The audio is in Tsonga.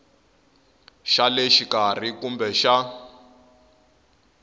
xa le xikarhi kumbe xa